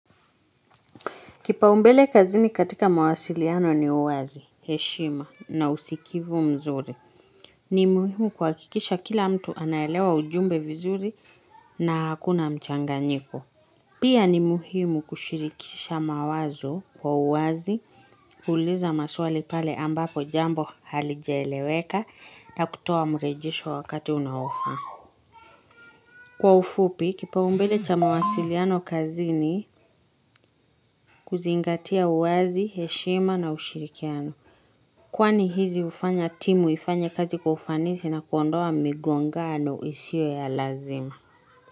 Kipao mbele kazini katika mawasiliano ni uwazi, heshima na usikivu mzuri. Ni muhimu kuhakikisha kila mtu anaelewa ujumbe vizuri na hakuna mchanganyiko. Pia ni muhimu kushirikisha mawazo kwa uwazi, kuuliza maswali pale ambapo jambo halijaeleweka na kutoa mrejesho wakati unaofaa. Kwa ufupi, kipao mbele cha mawasiliano kazini, kuzingatia uwazi, heshima na ushirikiano. Kwani hizi hufanya timu ifanye kazi kwa ufanisi na kuondoa migongano isiyo ya lazima.